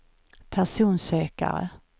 personsökare